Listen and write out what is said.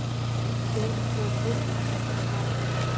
Björg dró djúpt andann og var hraðmælt